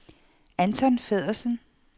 Anton Feddersen